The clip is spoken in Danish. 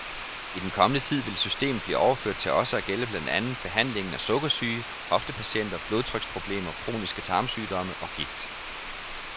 I den kommende tid vil systemet blive overført til også at gælde blandt andet behandlingen af sukkersyge, hoftepatienter, blodtryksproblemer, kroniske tarmsygdomme og gigt.